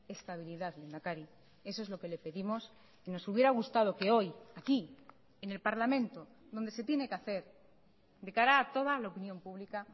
estabilidad lehendakari eso es lo que le pedimos y nos hubiera gustado que hoy aquí en el parlamento donde se tiene que hacer de cara a toda la opinión pública